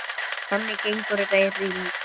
Þannig gengur þetta í hring.